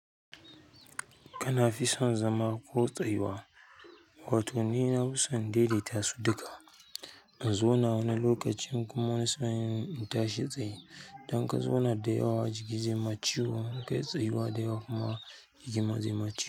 Kana fi son zama ko tsayuwa? Wato ni nafison in daidaita su duka in zauna wani lokacin kuma wani sa'in in tashi tsaye. Idan ka zauna da yawa jiki zai ma ciwo, in kai tsayuwa da yawa kuma jikin ma zai ma ciwo.